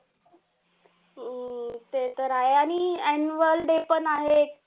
हम्म ते तर आहे आणि annual day पण आहे.